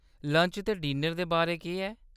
Lunch ते dinner दे बारै केह्‌‌?